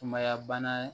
Sumaya bana